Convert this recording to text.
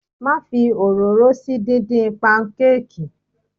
Má fi òróró sí díndín panukeeki.